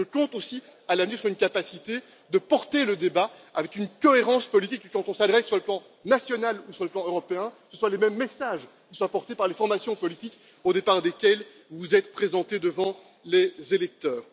Je compte aussi à l'avenir sur une capacité de porter le débat avec une cohérence politique, qu'on s'adresse à des interlocuteurs sur le plan national ou sur le plan européen, de sorte que les mêmes messages soient portés par les formations politiques au départ desquels vous vous êtes présentés devant les électeurs.